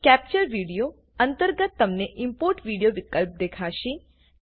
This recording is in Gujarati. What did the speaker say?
કેપ્ચર વીડિયો અંતર્ગત તમને ઇમ્પોર્ટ વીડિયો વિકલ્પ દેખાશે